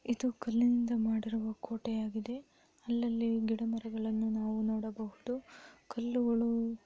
ಇದು ಕಲ್ಲಿನಿಂದ ಮಾಡಿರುವ ಕೋಟೆಯಾಗಿದೆ ಅಲ್ಲಲ್ಲಿ ಗಿಡಮರಗಳನ್ನು ನಾವು ನೋಡಬಹುದು ಕಲ್ಲುಗಳು--